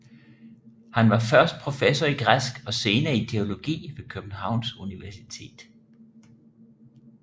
Han var først professor i græsk og senere i teologi ved Københavns Universitet